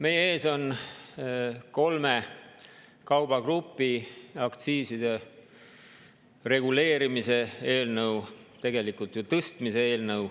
Meie ees on kolme kaubagrupi aktsiiside reguleerimise eelnõu, tegelikult ju tõstmise eelnõu.